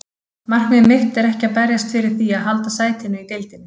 Markmið mitt er ekki að berjast fyrir því að halda sætinu í deildinni.